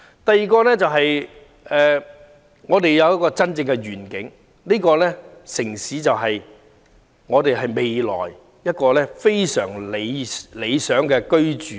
第二，我們應有真正的願景，知道這個城市未來能提供非常理想的居住環境。